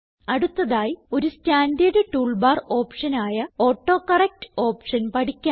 അടുത്തതായി ഒരു standard tool bar option ആയ ഓട്ടോകറക്ട് ഓപ്ഷൻ പഠിക്കാം